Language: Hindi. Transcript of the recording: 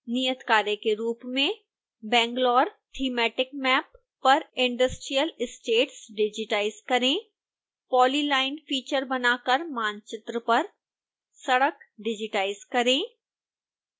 नियतकार्य के रूप में banglaore thematic map bangalorejpg पर industrial estates डिजिटाइज करें polyline फीचर बनाकर मानचित्र पर सड़क डिजिटाइज करें